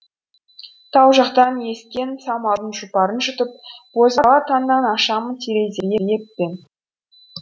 тау жақтан ескен самалдың жұпарын жұтып бозала таңнан ашамын тереземді еппен